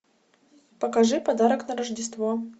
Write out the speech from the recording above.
покажи подарок на рождество